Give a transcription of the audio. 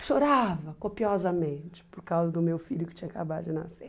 Eu chorava copiosamente por causa do meu filho que tinha acabado de nascer.